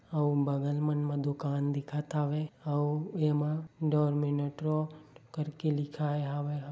अऊ बगल मन म दुकान दिखत हवे अऊ एमा डोरमिनटरों करके लिखाय हवे ।